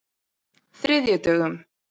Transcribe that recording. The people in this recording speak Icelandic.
þriðjudögum